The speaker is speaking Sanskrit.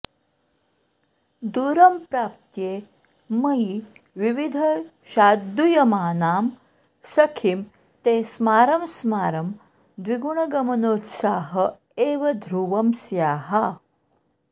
दूरं प्राप्ते मयि विधिवशाद्दूयमानां सखीं ते स्मारं स्मारं द्विगुणगमनोत्साह एव ध्रुवं स्याः